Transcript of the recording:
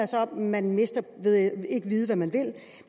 så at man mister ved ikke at vide hvad man